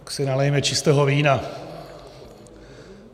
Tak si nalijeme čistého vína.